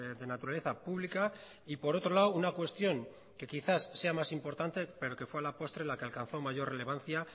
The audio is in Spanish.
de naturaleza pública y por otro lado una cuestión que quizás sea más importante pero que fue a la postre la que alcanzó mayor relevancia